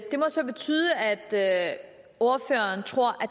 må så betyde at ordføreren tror